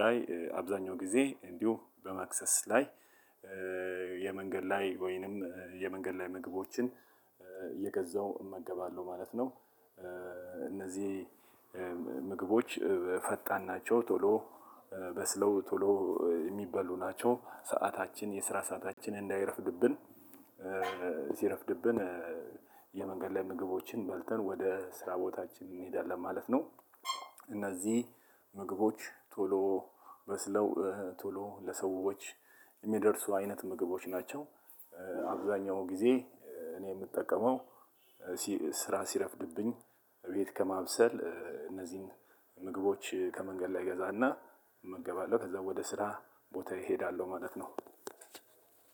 ላይ አብዛኛው ጊዜ እንዲሁ በመክሰስ ላይ የመንገድ ላይ ወይንም የመንገድ ላይ ምግቦችን እየገዛው እመገባለሁ ማለት ነው። እነዚህ ምግቦች ፈጣን ናቸው። ቶሎ በስለው ቶሎ እሚበሉ ናቸው ሰዓታችን የስራ ሰዓታችን እንዳይረፍድብን። ሲረፍድብን የመንገድ ላይ ምግቦችን በልተን ወደ ስራ ቦታችን እንሄዳለን ማለት ነው። እነዚህ ምግቦች ቶሎ በስለው ቶሎ ለሰዎች እሚደርሱ አይነት ምግቦች ናቸው። አብዛኛው ጊዜ እኔ እምጠቀመው ስራ ሲረፍድብኝ ቤት ከማብሰል እነዚህን ምግቦች ከመንገድ ላይ እገዛለሁ እመገባለሁ ከዛ ወደ ስራ ቦታዬ እሄዳለሁ ማለት ነው።